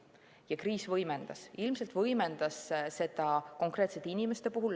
Ja kriis võimendas seda, võimendas seda konkreetsete inimeste puhul.